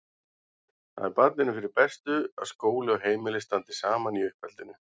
Það er barninu fyrir bestu að skóli og heimili standi saman í uppeldinu.